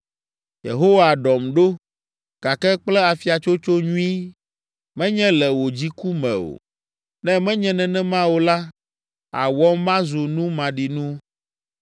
Yehowa, ɖɔm ɖo, gake kple afiatsotso nyui, menye le wò dziku me o. Ne menye nenema o la, àwɔm mazu nu maɖinu.